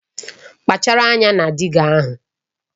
Kpachara anya na dịga ahụ!